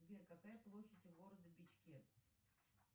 сбер какая площадь города бичке